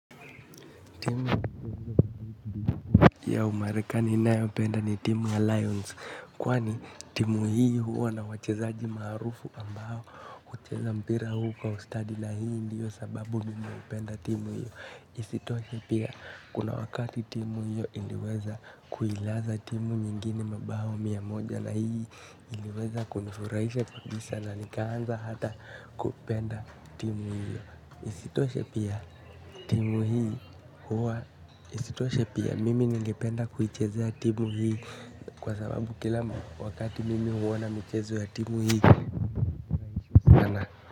Timu ya umarekani nayopenda ni timu ya lions kwani timu hii huwa na wachezaji maarufu ambao ucheza mpira huu kwa ustadi na hii ndiyo sababu mimi hupenda timu hiyo. Isitoshe pia kuna wakati timu hio iliweza kuilaza timu nyingine mabao mia moja. Na hii iliweza kunufurahisha kabisa na nikaanza hata kupenda timu hio. Isitoshe pia timu hii huwa isitoshe pia mimi nengependa kuichezea timu hii kwa sababu kila wakati mimi huona michezo timu hii.